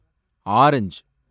orange